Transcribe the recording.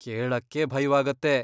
ಕೇಳಕ್ಕೇ ಭಯ್ವಾಗತ್ತೆ.